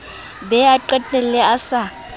be a qetelle a sa